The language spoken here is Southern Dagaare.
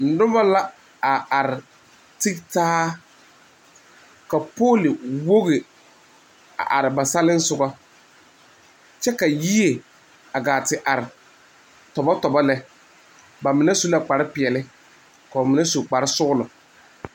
Noba la a are a te taa ka poli wogi are ba selisɔga kyɛ ka yie a te are tɔbo tɔbo lɛ ba mine su la kpare peɛle koo mine su kpare sɔglo.